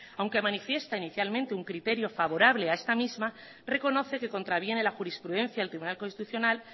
aunque manifiesta inicialmente un criterio favorable a esta misma reconoce que contraviene la jurisprudencia del tribunal constitucional